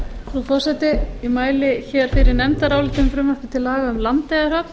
frú forseti ég mæli hér fyrir nefndaráliti um frumvarp til laga um landeyjahöfn